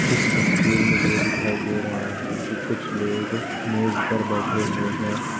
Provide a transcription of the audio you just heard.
इस तस्वीर में ये दिखाई दे रहा है की कुछ लोग मेज पर बैठे हुए है।